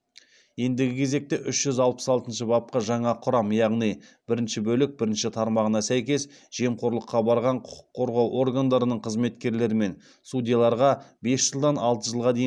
ендігі кезекте үш жүз алпыс алтыншы бапқа жаңа құрам яғни бірінші бөлік бірінші тармағына сәйкес жемқорлыққа барған құқық қорғау органдарының қызметкерлері мен судьяларға бес жылдан алты жылға дейін